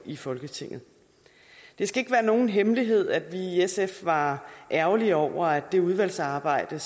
i folketinget det skal ikke være nogen hemmelighed at vi i sf var ærgerlige over at det udvalgsarbejde